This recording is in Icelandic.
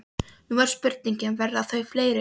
Nú er spurningin, verða þau fleiri?